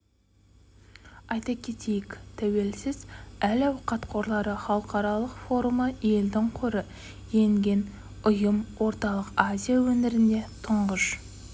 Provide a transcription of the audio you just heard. айта кетейік тәуелсіз әл-ауқат қорлары халықаралық форумы елдің қоры енген ұйым орталық азия өңірінде тұңғыш